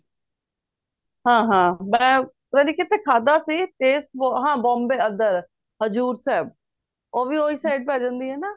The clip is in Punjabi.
ਹਾਂ ਹਾਂ ਮੈਂ ਪਤਾ ਨੀਂ ਕਿੱਥੇ ਖਾਦਾ ਸੀ taste ਬਹੁਤ ਹਾਂ Bombay ਅੰਦਰ ਹਜੂਰ ਸਾਹਿਬ ਉਹ ਵੀ ਉਹੀ side ਪੈ ਜਾਂਦੀ ਏ ਨਾ